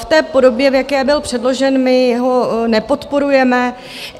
V té podobě, v jaké byl předložen, my ho nepodporujeme.